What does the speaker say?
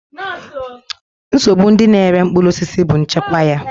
Nsogbu ndị na-ere mkpụrụ osisi bụ nchekwa ya.